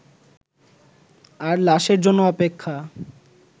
আর লাশের জন্য অপেক্ষা